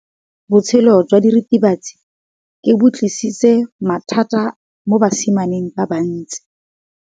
Botshelo jwa diritibatsi ke bo tlisitse mathata mo basimaneng ba bantsi.